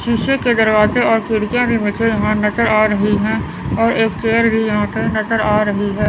शीशे के दरवाजे और खिड़कियां भी मुझे यहां नज़र आ रही है और एक चेयर भी यहां पे नज़र आ रही है।